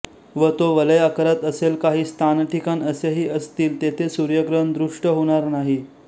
व तो वलय आकारात असेल काही स्थानठिकाण असेही असतील तेथे सूर्यग्रहण दृष्ट होणार नाही